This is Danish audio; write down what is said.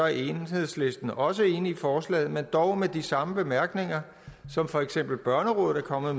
er enhedslisten også enige i forslaget dog med de samme bemærkninger som for eksempel børnerådet er kommet